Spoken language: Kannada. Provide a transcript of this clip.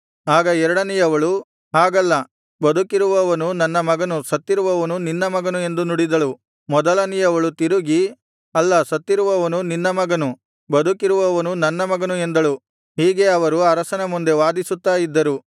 ಆಗ ಎರಡನೆಯವಳು ಹಾಗಲ್ಲ ಬದುಕಿರುವವನು ನನ್ನ ಮಗನು ಸತ್ತಿರುವವನು ನಿನ್ನ ಮಗನು ಎಂದು ನುಡಿದಳು ಮೊದಲನೆಯವಳು ತಿರುಗಿ ಅಲ್ಲ ಸತ್ತಿರುವವನು ನಿನ್ನ ಮಗನು ಬದುಕಿರುವವನು ನನ್ನ ಮಗನು ಎಂದಳು ಹೀಗೆ ಅವರು ಅರಸನ ಮುಂದೆ ವಾದಿಸುತ್ತಾ ಇದ್ದರು